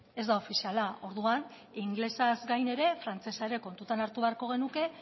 ez da ofiziala orduan ingelesaz gain ere frantsesa kontutan hartu beharko genuke